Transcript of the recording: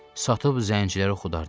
Satıb zənciləri xudardım.